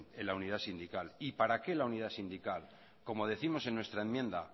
en la unidad sindical y para qué la unidad sindical como décimos en nuestra enmienda